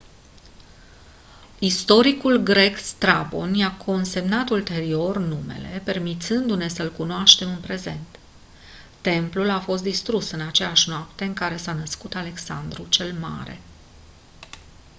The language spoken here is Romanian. istoricul grec strabon i-a consemnat ulterior numele permițându-ne să-l cunoaștem în prezent templul a fost distrus în aceeași noapte în care s-a născut alexandru cel mare